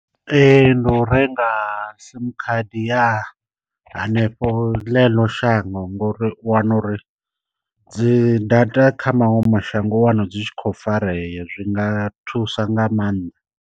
Ndi u renga sim khadi ya hanefho ḽeḽo shango ngo uri u wana uri dzi data kha maṅwe mashango u wana dzi tshi khou farea zwi nga thusa nga maanḓa.